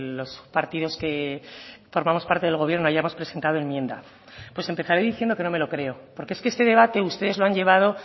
los partidos que formamos parte del gobierno hayamos presentado enmienda pues empezaré diciendo que no me lo creo porque es que este debate ustedes lo han llevado